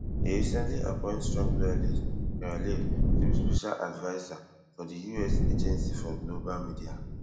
e recently appoint strong loyalist kari lake to be special adviser for di us agency for global media